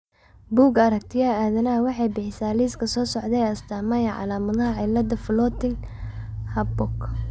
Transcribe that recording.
Bugga Aragtiyaha Aadanaha waxay bixisaa liiska soo socda ee astaamaha iyo calaamadaha cillada Floating Harborka.